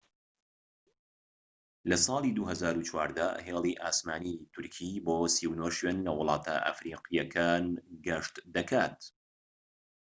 لە ساڵی 2014 هێڵی ئاسمانی تورکی بۆ 39 شوێن لە وڵاتە ئەفریقیەکان گەشت دەکات